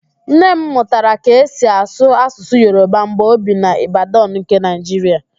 Nne m mụtara ka e si asụ Asụsụ Yoroba mgbe o bi n'Ibadan nke Naịjiria